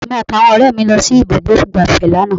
Èmi àti àwọn ọ̀rẹ́ mi lọ sí ibùdó ìgbáfẹ́ lánàá